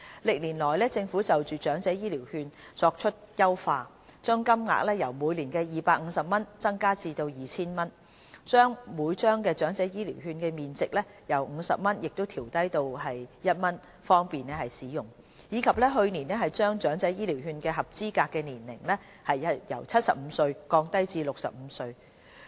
歷年來，政府就長者醫療券作出優化：將金額由每年250元增加至 2,000 元；將每張醫療券的面值由50元調低至1元，方便使用；並在去年將長者醫療券計劃的合資格年齡由70歲降低至65歲。